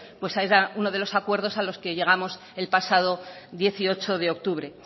pues era uno de los acuerdos a los que llegamos el pasado dieciocho de octubre